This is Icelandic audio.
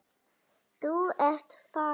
Þú ert farin.